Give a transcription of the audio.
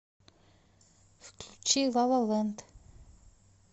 включи лалалэнд